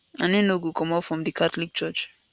and im no go comot from di catholic church